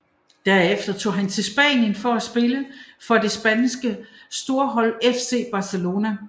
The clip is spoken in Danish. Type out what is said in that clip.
Derefter tog han til Spanien for at spille for det spanske storhold FC Barcelona